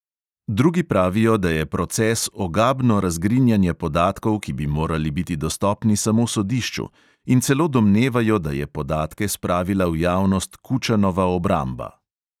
Drugi pravijo, da je proces ogabno razgrinjanje podatkov, ki bi morali biti dostopni samo sodišču, in celo domnevajo, da je podatke spravila v javnost kučanova obramba.